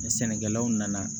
Ni sɛnɛkɛlaw nana